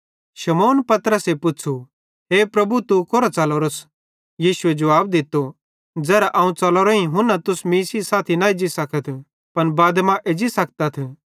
शमौन पतरसे तैस पुच़्छ़ू हे प्रभु तू कोरां च़लोरोस यीशुए जुवाब दित्तो ज़ेरां अवं च़लोरोईं तू हुना मीं सेइं साथी न एज्जी सकस पन बादे मां एज्जी सकतस